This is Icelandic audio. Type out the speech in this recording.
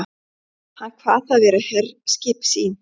Hann kvað það vera herskip sín.